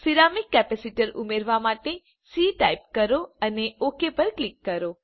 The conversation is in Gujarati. સિરામિક કેપેસિટર ઉમેરવા માટે સી ટાઇપ કરો અને ઓક પર ક્લિક કરો